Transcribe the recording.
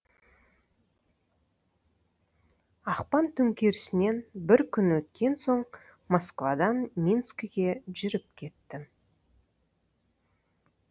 ақпан төңкерісінен бір күн өткен соң москвадан минскіге жүріп кеттім